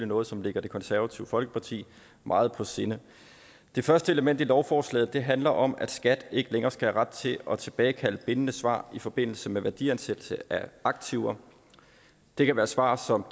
noget som ligger det konservative folkeparti meget på sinde det første element i lovforslaget handler om at skat ikke længere skal have ret til at tilbagekalde bindende svar i forbindelse med værdiansættelse af aktiver det kan være svar som